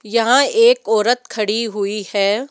यहां एक औरत खड़ी हुई है।